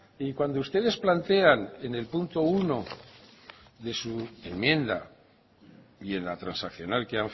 y cuando ustedes plantean en el punto uno de su enmienda y en la transaccional que